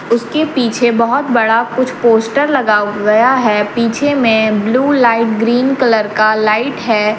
उसके पीछे बहोत बड़ा कुछ पोस्टर लगा गया है पीछे में ब्लू लाइट ग्रीन कलर का लाइट है।